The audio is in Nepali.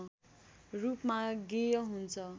रूपमा गेय हुन्छ